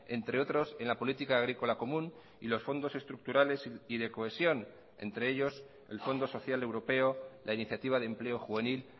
entre otros en la política agrícola común y los fondos estructurales y de cohesión entre ellos el fondo social europeo la iniciativa de empleo juvenil